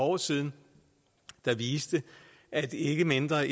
år siden der viste at ikke mindre